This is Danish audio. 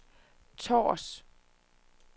Tårs